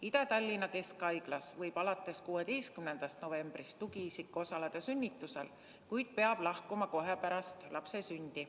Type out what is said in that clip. Ida-Tallinna Keskhaiglas võib alates 16. novembrist tugiisik osaleda sünnitusel, kuid peab lahkuma kohe pärast lapse sündi.